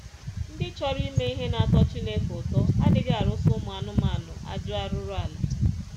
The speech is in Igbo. Ndị chọrọ ime ihe na-atọ Chineke ụtọ adịghị arụsa ụmụ anụmanụ ajọ arụrụala.